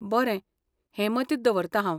बरें, हें मतींत दवरतां हांव.